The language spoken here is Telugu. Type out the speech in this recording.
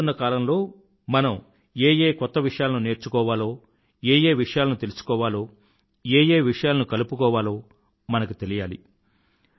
మారుతున్న కాలంలో మనం ఏ ఏ కొత్త విషయాలను నేర్చుకోవాలో ఏ ఏ విషయాలను తెలుసుకోవాలో ఏ ఏ విషయాలను కలుపుకోవాలో మనకి తెలియాలి